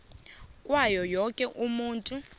kwawo woke umuntu